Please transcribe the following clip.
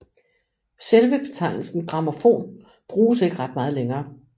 Selve betegnelsen grammofon bruges ikke ret meget længere